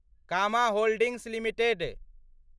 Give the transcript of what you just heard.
comma holdings limited